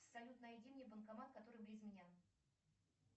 салют найди мне банкомат который вблизь меня